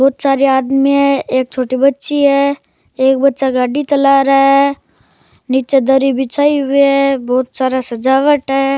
बहुत सारा आदमी है एक छोटी बच्ची है एक बच्चा गाड़ी चला रहा है निचे दरी बिछायी हुई है बहुत सारा सजावट है।